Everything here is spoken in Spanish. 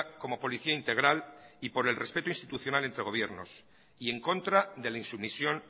como policía integral y por el respeto institucional entre gobiernos y en contra de la insumisión